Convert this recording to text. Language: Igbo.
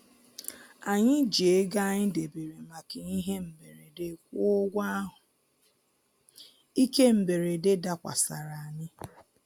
Anyị ji ego anyị debere maka ihe mberede kwụọ ụgwọ ahụ ike mberede dakwasara anyị